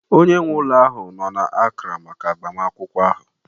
Onye nwe ụlọ ahụ nọ na Accra maka agbamakwụkwọ ahụ